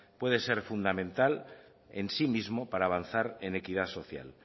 puede ser fundamental en sí mismo para avanzar en equidad social